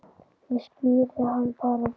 Ég skíri hann bara Rolu.